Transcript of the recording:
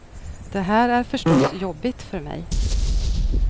Det här är förstås jobbigt för mig.